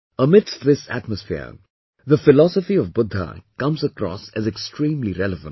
Amidst this atmosphere, the philosophy of Buddha comes across as extremely relevant